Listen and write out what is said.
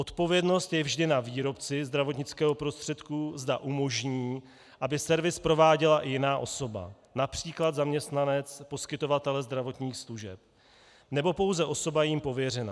Odpovědnost je vždy na výrobci zdravotnického prostředku, zda umožní, aby servis prováděla i jiná osoba, například zaměstnanec poskytovatele zdravotních služeb, nebo pouze osoba jím pověřená.